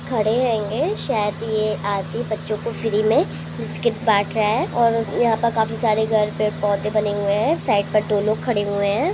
खड़े रहेंगे शायद ये आदमी बच्चो को फ्री में बिस्किट बाट रहा है और यहाँ पर काफी सारे घर पेड़ पौधें बने हुए है साईट पर दो लोग खड़े हुए है।